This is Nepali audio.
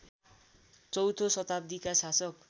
चौथो शताब्दीका शासक